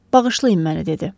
Bağışlayın məni, dedi.